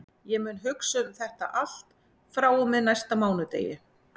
Ég mun hugsa um þetta allt frá og með næsta mánudegi.